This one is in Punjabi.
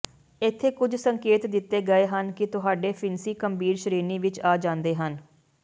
ਇੱਥੇ ਕੁਝ ਸੰਕੇਤ ਦਿੱਤੇ ਗਏ ਹਨ ਕਿ ਤੁਹਾਡੇ ਫਿਣਸੀ ਗੰਭੀਰ ਸ਼੍ਰੇਣੀ ਵਿੱਚ ਆ ਜਾਂਦੇ ਹਨ